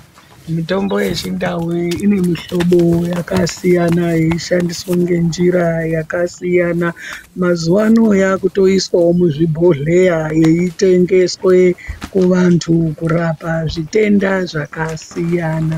Mitombo yechindau inemihlobo yakasiyana yeishandiswa ngenjira yakasiyana. Mazuva ano yakutoiswavo muzvibhodhleya yeitengeswe kuvantu kurapa zvitenda zvakasiyana.